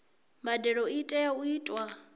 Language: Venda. mbadelo i tea u itwa